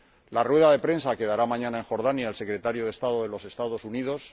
la rueda de prensa que dará mañana en Jordania el secretario de estado de los Estados Unidos